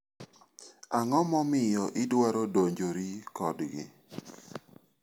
Ang'o momiyo idwaro donjori kodgi?